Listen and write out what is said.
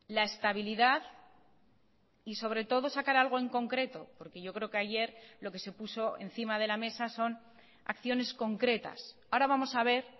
la estabilidad y sobre todo sacar algo en concreto porque yo creo que ayer lo que se puso encima de la mesa son acciones concretas ahora vamos a ver